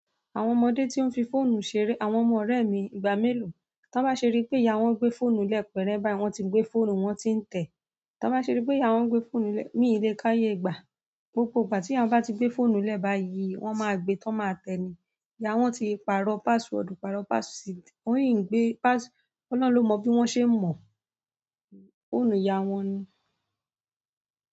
Àwọn ọmọdé tí ó ń fi fóònù ṣeré, àwọn ọmọ ọ̀rẹ́ mi ìgbà mélòó, tọ́n bá ṣeri pé ìyá wọn gbé fóònù lẹ́ẹ̀ pẹ̀rẹ̀ báyi, wọ́n ti gbé fóònù wọn tí ń tẹ̀. Tọ́n bá ṣeri pé ìyá wọn gbé fóònù lẹ́ẹ̀, mí lé káyé ìgbà, gbogbo ìgbà tí ìyá wọn bá ti gbé fóònù lẹ́ẹ̀ báyìí, wọ́n máa gbé, tó máa tẹ̀ni. Ìyá wọn ti pàrọ̀ password, pàrọ̀ password, wọ́n yìí ń gbé pass-- Ọlọ́run ló mọ bí wọ́n ṣe n mọ. Fóònù ìyá wọn ni.